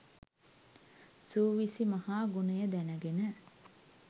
සූවිසි මහා ගුණය දැනගෙන